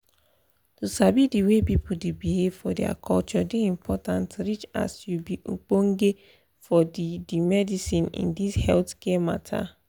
to sabi di way people dey behave for their culture dey important reach as you be ogbonge for the the medicine in this healthcare matta